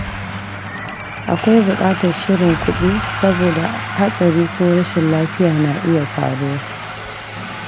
Akwai bukatar shirin kudi saboda hatsari ko rashin lafiya na iya faruwa.